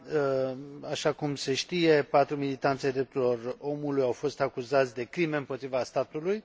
Așa cum se știe, patru militanți ai drepturilor omului au fost acuzați de crime împotriva statului.